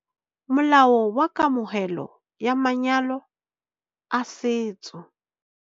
Molao wa Kamohelo ya Manyalo a Setso